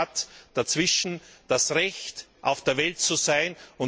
Ein Mensch hat dazwischen das Recht, auf der Welt zu sein.